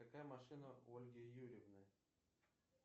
какая машина у ольги юрьевны